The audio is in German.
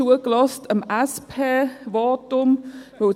Ich habe dem SPVotum gespannt zugehört.